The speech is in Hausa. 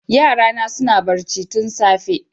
Yarana suna barci tun safe